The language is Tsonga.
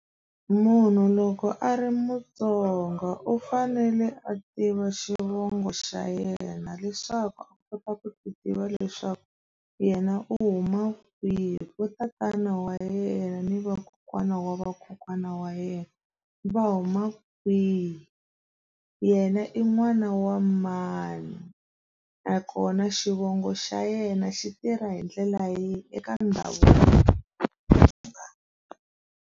Munhu loko a ri mutsongo u fanele a tiva xivongo xa yena leswaku a kota ku ti tiva leswaku yena u huma kwihi vo tatana wa yena ni vakokwana wa vakokwana wa yena va huma kwihi yena i n'wana wa mani nakona xivongo xa yena xi tirha hi ndlela yihi .